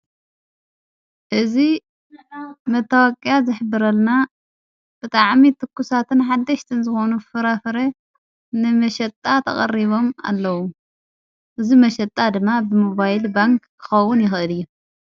እዝ መተዋቕያ ዘኅብረልና ብታ ዓሚት እትኲሳትን ሓደሽተንዝኾኑ ፍራፍረ ንመሸጣ ተቐሪቦም ኣለዉ እዝ መሸጣ ድማ ብምባይል ባንክ ክኸውን ይኸድ ።